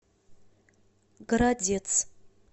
городец